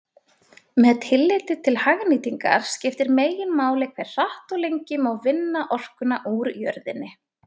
Með tilliti til hagnýtingar skiptir meginmáli hve hratt og lengi má vinna orkuna úr jörðinni.